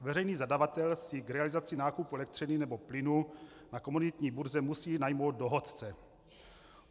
Veřejný zadavatel si k realizaci nákupu elektřiny nebo plynu na komunitní burze musí najmout dohodce.